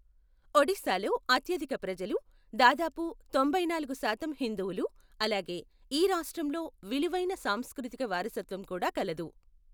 ఒడిశాలో అత్యధిక ప్రజలు, దాదాపు తొంభైనాలుగు శాతం హిందువులు, అలాగే ఈ రాష్ట్రంలో విలువైన సాంస్కృతిక వారసత్వం కూడా కలదు.